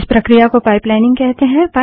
इस प्रक्रिया को पाइपलाइनिंग कहते हैं